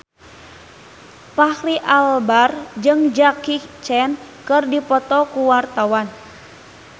Fachri Albar jeung Jackie Chan keur dipoto ku wartawan